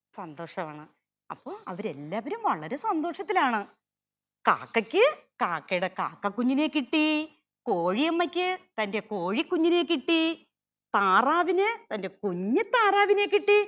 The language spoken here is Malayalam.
സന്തോഷാണ് അപ്പൊ അവര് എല്ലാവരും വളരെ സന്തോഷത്തിലാണ്. കാക്കയ്ക്ക് കാക്കയുടെ കാക്ക കുഞ്ഞിനെ കിട്ടി. കോഴിയമ്മയ്ക്ക് തന്റെ കോഴി കുഞ്ഞിനെ കിട്ടി. താറാവിന് തന്റെ കുഞ്ഞു താറാവിനെ കിട്ടി.